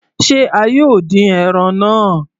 Se a yóò dín ẹran náà?